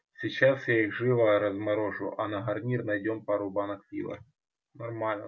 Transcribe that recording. сейчас я их живо разморожу а на гарнир найдём пару банок пива нормально